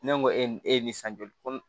Ne ko e ni e ye nin san joli ko